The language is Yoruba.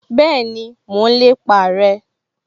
Bẹ́ẹ̀ni, mo n lépa rẹ